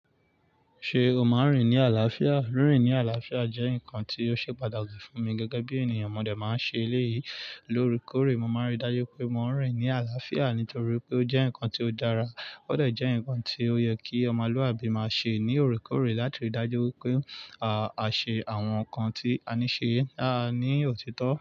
Ṣé o máa ń rìn ní àlàáfíà? Rín rín ní àlàáfíà jẹ́ nǹkan tí ó ṣe pàtàkì fún mi gẹ́gẹ́ bí ènìyàn. Mọ̀ dẹ̀ máa ń ṣe eléyìí lóòrè kóòrè. Mo máa ń rí i dájú pé mo ń rìn ní àlàáfíà nítorí pé ó jẹ́ nǹkan tí ó dára. Ó dọ̀ jẹ́ nǹkan tí ó yẹ kí ọmọlúàbí máa ṣe ní òrèkórè láti rí i dájú pé à ṣe àwọn nǹkan tí a ní ṣe a ní òtítọ́